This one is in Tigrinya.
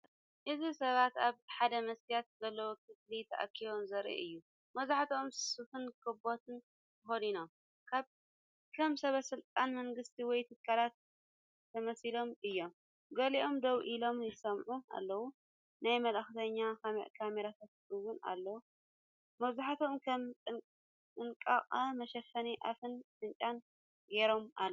እዚ ሰባት ኣብ ሓደመስትያት ዘለዎ ክፍሊ ተኣኪቦም ዘርኢ እዩ። መብዛሕትኦም ስፉን ካቦትን ተኸዲኖም፡ ከም ሰበስልጣን መንግስቲ ወይ ትካላት ተመሲሎም እዮም። ገሊኦም ደው ኢሎም ይሰምዑ ኣለዉ፡ናይ መልእኽተኛ ካሜራታትን እውን ኣለዉ። መብዛሕትኦም ከም ጥንቃቐ መሸፈኒ ኣፍን ኣፍንጫን ገይሮም ኣለው።